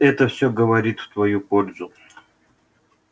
это всё говорит в твою пользу